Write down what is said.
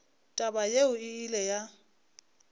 taba yeo e ile ya